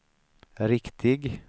riktig